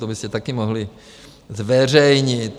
To byste také mohli zveřejnit.